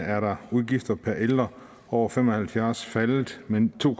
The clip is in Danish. er udgifterne per ældre over fem og halvfjerds år faldet med to